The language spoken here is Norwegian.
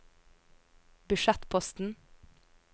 budsjettposten